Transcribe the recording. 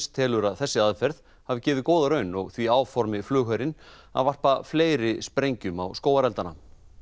telur að þessi aðferð hafi gefið góða raun og því áformi flugherinn að varpa fleiri sprengjum á skógareldana